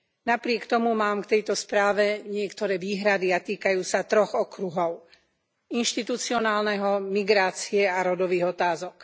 Napriek tomu mám k tejto správe niektoré výhrady a týkajú sa troch okruhov inštitucionálneho, migrácie a rodových otázok.